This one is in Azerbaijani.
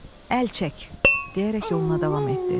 Əl çək, deyərək yoluna davam etdi.